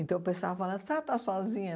Então o pessoal fala, a senhora está sozinha?